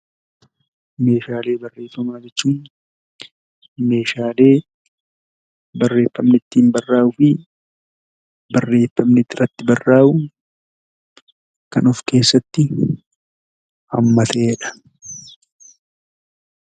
Meeshaalee barreeffamaa jechuun meeshaalee barreeffamni ittiin baraa'uu fi barreeffamni irratti barraa'u kan of keessatti hammatedha.